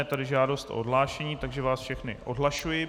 Je tady žádost o odhlášení, takže vás všechny odhlašuji.